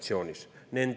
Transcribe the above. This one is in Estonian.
Palun, kolm minutit lisaks!